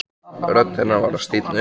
Rödd hennar var að stífna upp.